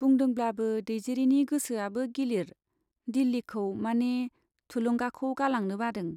बुदोंब्लाबो दैजिरिनि गोसोआबो गिलिर, दिल्लीखौ माने थुलुंगाखौ गालांनो बादों।